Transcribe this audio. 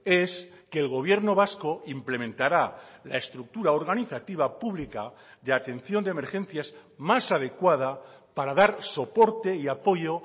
es que el gobierno vasco implementará la estructura organizativa pública de atención de emergencias más adecuada para dar soporte y apoyo